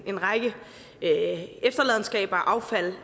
en række efterladenskaber og affald